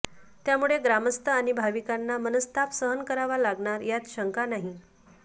त्यामुळे ग्रामस्थ आणि भाविकांना मनस्ताप सहन करावा लागणार यात शंका नाही